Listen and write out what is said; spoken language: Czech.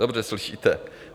Dobře slyšíte.